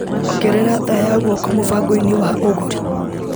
Ongerera thaa ya guoko mũbango-inĩ wa ũgũri .